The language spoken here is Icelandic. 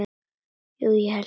Jú ég held það.